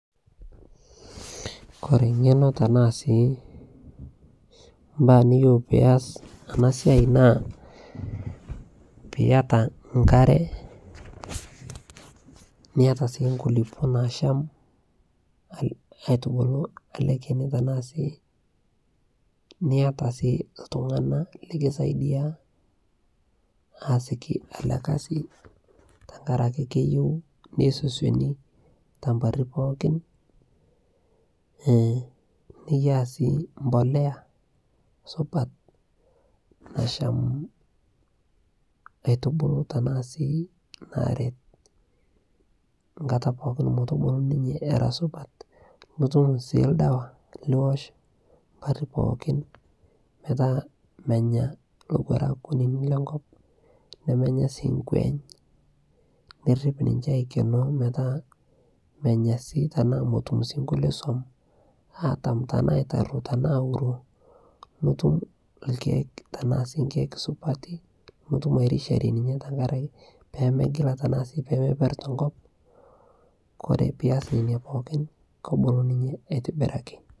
Kore ngenoo tanaa sii mbaa nkiyeu pias ana siai naa piyata nkaree niata sii nkulipoo naasham aitubulu alee keni tanaa sii niata sii ltunganaa likisaidia aasiki alee kazii tankarakee keyeu neisosioni tamparii pookin niyaa sii mbolea supat nasham aitubulu tanaa sii naret nkata pooki motubuluu ninyee era supat notum sii ldawaa liwosh mpari pookin metaa menya lowarak kunini lenkop nemenyaa sii nkueny nirip ninshe aikenoo metaa sii tanaa metum sii nkulie suom atam tanaa aitaruo tanaa auroo nitum lkeek tanaa sii nkeek supati nurum airishayee ninshee tankarakee peemegila peemeper tenkopang Kore pias nenia pookin kobulu ninyee aitibiraki